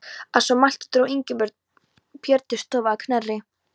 Að svo mæltu dró Ingimundur Björn til stofu að Knerri.